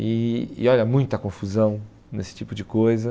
E e olha, muita confusão nesse tipo de coisa.